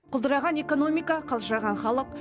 құлдыраған экономика қалжыраған халық